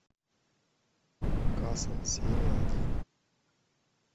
касл серия один